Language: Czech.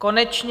Konečně.